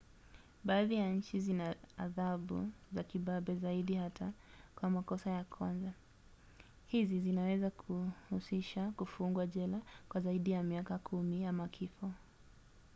baadhi ya nchi zina adhabu za kibabe zaidi hata kwa makosa ya kwanza; hizi zinaweza kuhusisha kufungwa jela kwa zaidi ya miaka 10 ama kifo